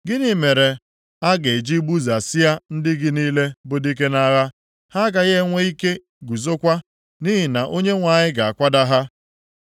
Gịnị mere a ga-eji gbudasịa ndị gị niile bụ dike nʼagha? Ha agaghị enwe ike guzokwa, nʼihi na Onyenwe anyị ga-akwada ha.